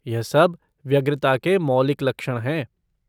यह सब व्यग्रता के मौलिक लक्षण हैं।